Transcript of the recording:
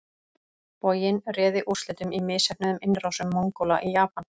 Boginn réði úrslitum í misheppnuðum innrásum Mongóla í Japan.